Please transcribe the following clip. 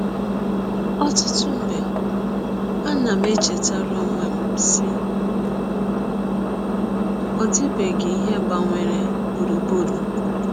Ọtụtụ mgbe, anam echetara ọnwe m, sị, ‘ Ọ dịbeghị ihe gbanwere gbụrụgbụrụ m.